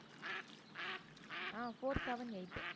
ah four seven eight